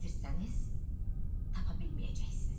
İtirsəniz, tapa bilməyəcəksiniz.